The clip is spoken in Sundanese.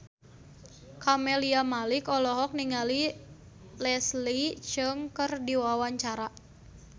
Camelia Malik olohok ningali Leslie Cheung keur diwawancara